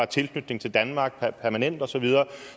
tilknytning til danmark permanent og så videre